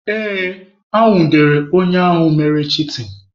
Ee, e nwudere onye ahụ mere chitin.